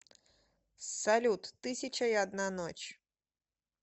салют тысяча и одна ночь